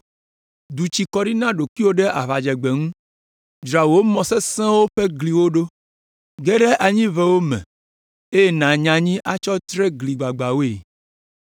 Du tsi kɔ ɖi na ɖokuiwò ɖe aʋadzegbe ŋu. Dzra wò mɔ sesẽwo ƒe gliwo ɖo. Ge ɖe anyiʋewo me, eye nànya anyi atsɔ tre gli gbagbãwoe.